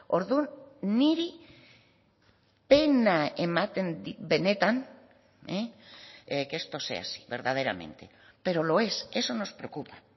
orduan niri pena ematen dit benetan que esto sea así verdaderamente pero lo es eso nos preocupa